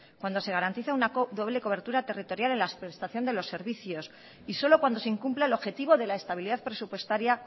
cuando se garantiza una doble cobertura territorial en la prestación de los servicios y solo cuando se incumpla el objetivo de la estabilidad presupuestaria